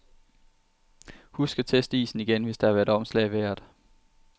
Husk at teste isen igen, hvis der har været omslag i vejret.